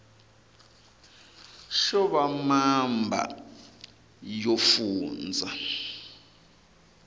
xo va mamba yo fundza